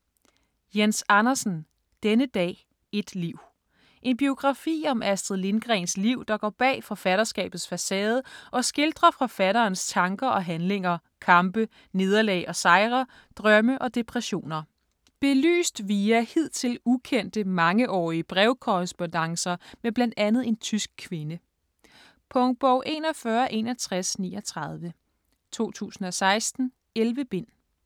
Andersen, Jens: Denne dag, et liv En biografi om Astrid Lindgrens liv der går bag forfatterskabets facade og skildrer forfatterens tanker og handlinger, kampe, nederlag og sejre, drømme og depressioner. Belyst via hidtil ukendte, mangeårige brevkorrespondancer med blandt andet en tysk kvinde. Punktbog 416139 2016. 11 bind.